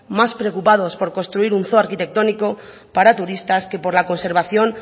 más preocupados por construir un zoo arquitectónico para turistas que por la conservación